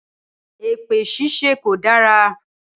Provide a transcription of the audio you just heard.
Èpè ṣíṣe kò dára.